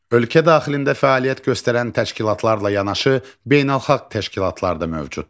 Ölkə daxilində fəaliyyət göstərən təşkilatlarla yanaşı beynəlxalq təşkilatlar da mövcuddur.